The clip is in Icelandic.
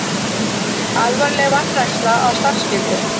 Alvarleg vanræksla á starfsskyldum